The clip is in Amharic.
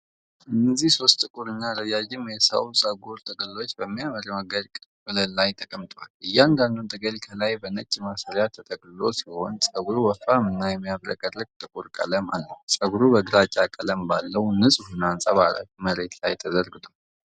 እነዚህ ሶስት ጥቁርና ረዣዥም የሰው ፀጉር ጥቅሎች በሚያምር ሞገድ ቅርጽ ወለል ላይ ተቀምጠዋል። እያንዳንዱ ጥቅል ከላይ በነጭ ማሰሪያ ተጠቅልሎ ሲሆን ፀጉሩ ወፍራምና የሚያብረቀርቅ ጥቁር ቀለም አለው። ፀጉሩ በግራጫ ቀለም ባለው፣ ንጹህና አንጸባራቂ መሬት ላይ ተዘርግቷል።